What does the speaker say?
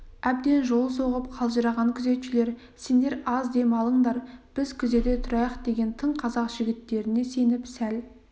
әбден жол соғып қалжыраған күзетшілер сендер аз дем алыңдар біз күзете тұрайық деген тың қазақ жігіттеріне сеніп сәл